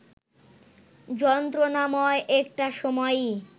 যন্ত্রণাময় একটা সময়ই